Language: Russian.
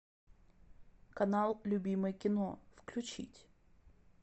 канал любимое кино включить